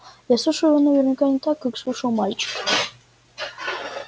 я слышал его наверняка не так как слышал мальчик